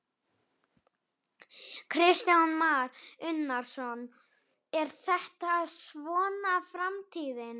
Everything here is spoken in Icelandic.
Kristján Már Unnarsson: Er þetta svona framtíðin?